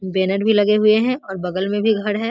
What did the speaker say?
Banner भी लगे हुए है और बगल में भी घर है।